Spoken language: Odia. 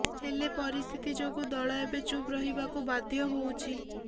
ହେଲେ ପରିସ୍ଥିତି ଯୋଗୁ ଦଳ ଏବେ ଚୁପ୍ ରହିବାକୁ ବାଧ୍ୟ ହୋଉଛି